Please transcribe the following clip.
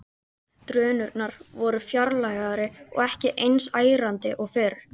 Drunurnar voru fjarlægari og ekki eins ærandi og fyrr.